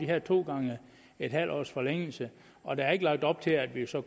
her to gange et halvt års forlængelse og der er ikke lagt op til at vi så